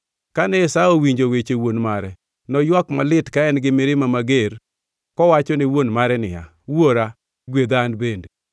Kane Esau owinjo weche wuon mare, noywak malit ka en-gi mirima mager kowachone wuon mare niya, “Wuora, gwedha an bende!”